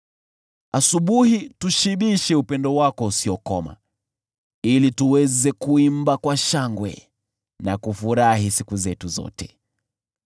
Tushibishe asubuhi kwa upendo wako usiokoma, ili tuweze kuimba kwa shangwe na kufurahi siku zetu zote.